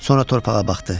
Sonra torpağa baxdı.